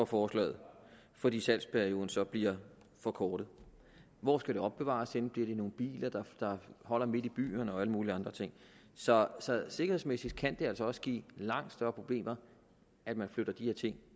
forslaget fordi salgsperioden så bliver forkortet hvor skal det opbevares henne bliver det i nogle biler der holder midt i byerne og alle mulige andre ting så sikkerhedsmæssigt kan det altså også give langt større problemer at man flytter de her ting